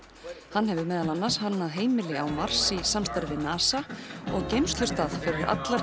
hann hefur meðal annars hannað heimili á Mars í samstarfi við NASA og geymslustað fyrir allar